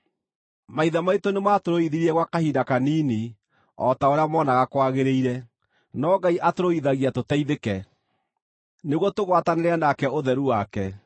Maithe maitũ nĩmatũrũithirie gwa kahinda kanini o ta ũrĩa moonaga kwagĩrĩire; no Ngai atũrũithagia tũteithĩke, nĩguo tũgwatanĩre nake ũtheru wake.